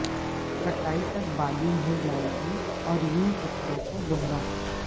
کٹائی تک بالغ ہو جائے گی اور یوں فصلوں کو دوہرا